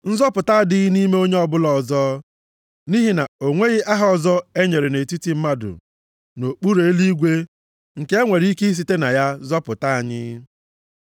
Nzọpụta adịghị nʼime onye ọbụla ọzọ, nʼihi na o nweghị aha ọzọ e nyere nʼetiti mmadụ nʼokpuru eluigwe nke e nwere ike isite na ya zọpụta anyị.”